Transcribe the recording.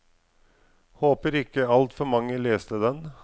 Håper ikke altfor mange leste den.